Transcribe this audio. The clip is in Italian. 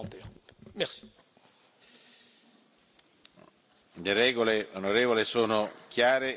Le regole sono chiare e sono sempre state scrupolosamente seguite per tutti.